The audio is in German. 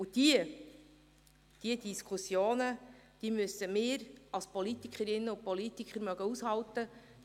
Und diese Diskussionen müssen wir als Politikerinnen und Politiker aushalten können.